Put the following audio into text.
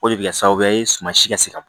O de bɛ kɛ sababu ye suman si ka se ka bɔ